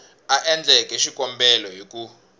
a endleke xikombelo hi ku